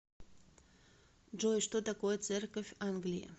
джой что такое церковь англии